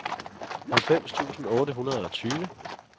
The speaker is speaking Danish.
halvfems tusind otte hundrede og tyve